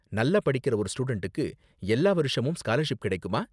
நல்லா படிக்கற ஒரு ஸ்டூடண்ட்டுக்கு எல்லா வருஷமும் ஸ்காலர்ஷிப் கிடைக்குமா?